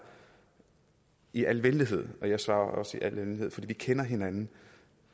i al venlighed og jeg svarer også i al venlighed for vi kender hinanden